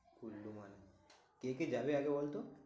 কুল্লু মানালি, কে কে যাবে আগে বলতো।